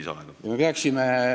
Ma arvan, et me peaks midagi ette võtma.